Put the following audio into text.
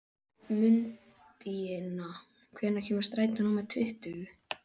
Mundína, hvenær kemur strætó númer tuttugu?